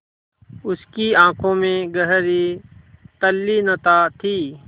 उसकी आँखों में गहरी तल्लीनता थी